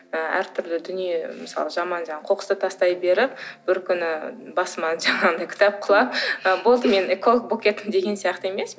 ы әртүрлі дүние мысалы жаман қоқысты тастай беріп бір күні басыма жаңағындай кітап құлап болды мен эколог болып кеттім деген сияқты емес